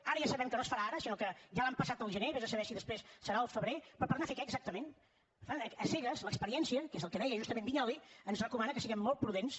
ara ja sabem que no es farà ara sinó que ja l’han passat al gener vés a saber si després serà al febrer però per anar a fer què exactament a cegues l’experiència que és el que deia justament vinyols ens recomana que siguem molt prudents